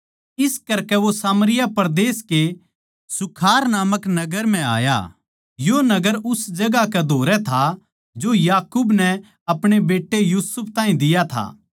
इस करकै वो सामरिया परदेस के सूखार नामक एक नगर म्ह आया यो नगर उस जगहां कै धोरै था जो याकूब नै अपणे बेट्टे यूसुफ ताहीं दिया था